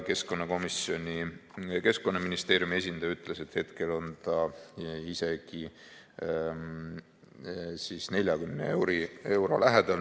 Keskkonnaministeeriumi esindaja ütles, et hetkel on see isegi 40 euro lähedal.